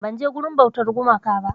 Ban je wurin bautar gumaka ba